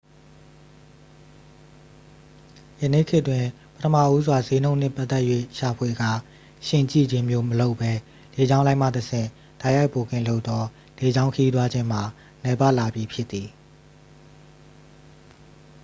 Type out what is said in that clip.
ယနေ့ခေတ်တွင် ပထမဦးစွာ စျေးနှုန်းနှင့်ပတ်သက်၍ ရှာဖွေကာ ယှဉ်ကြည့်ခြင်းမျိုးမလုပ်ဘဲ လေကြောင်းလိုင်းမှတဆင့် တိုက်ရိုက်ဘွတ်ကင်လုပ်သော လေကြောင်းခရီးသွားခြင်းမှာ နည်းပါးလာပြီ ဖြစ်သည်